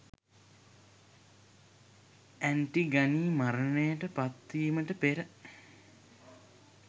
Antigone මරණයට පත්වීමට පෙර